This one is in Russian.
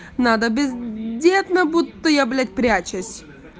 надо бездетна будто я блять прячусь